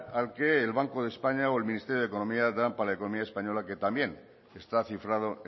al que el banco de españa o el ministerio de economía dan para la economía española que también está cifrado